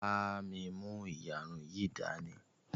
bá mí mú iyarun yí dání!